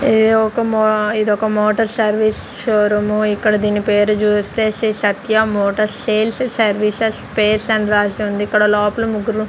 ఇది ఒక మొ ఇది ఒక మోటార్ సర్వీస్ షోరూమ్ ఇక్కడ దీని పేరు చూస్తే Sri Satya motor sales services space అని రాసి ఉంది ఇక్కడ లోపల ముగ్గురు ఉం--